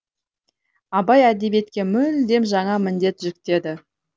абай әдебиетке мүлдем жаңа міндет жүктеді